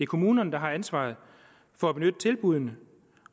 kommunerne der har ansvaret for at benytte tilbuddene